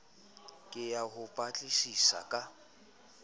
ke ya ho batlisisa ka